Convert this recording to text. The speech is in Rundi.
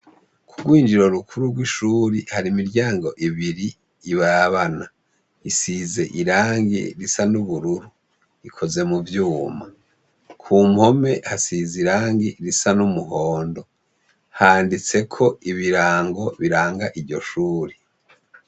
Kugwinjiriro rukuru rw’ishuri har’imiryango ibiri irabana, isize irangi risa n’ubururu, ikoze muvyuma. Ku mpome hasiz’irangi risa n’umuhondo. Handitseko ibirango biranga iryo shure.